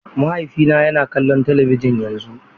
Mahaifina yana kallon talabijin yanzu.